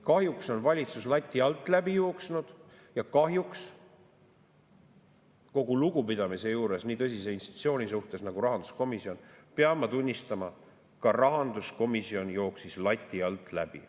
Kahjuks on valitsus lati alt läbi jooksnud ja kahjuks – kogu lugupidamise juures nii tõsise institutsiooni suhtes nagu rahanduskomisjon – pean ma tunnistama, et ka rahanduskomisjon jooksis lati alt läbi.